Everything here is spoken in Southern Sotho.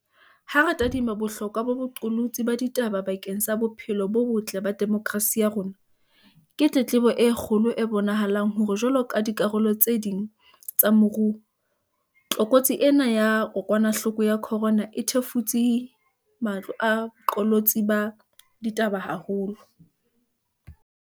Ha re tadima bohlokwa ba boqolotsi ba ditaba bakeng sa bophelo bo botle ba demokrasi ya rona, ke tletlebo e kgolo e bonahalang hore jwaloka dikarolo tse ding tsa moruo, tlokotsi ena ya kokwanahloko ya corona e thefutse matlo a boqolotsi ba ditaba haholo.